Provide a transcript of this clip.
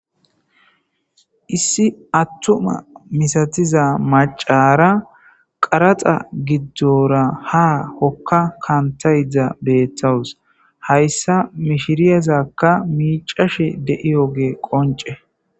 Issi atuma misatiza mac'ara qaradha gidora ha hoka kantayda betawus haysa mishirazaka mic'ashe de'iyoge qonc'e.